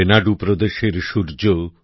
রেনাড়ু প্রদেশের সূর্য